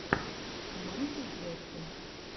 майкл джексон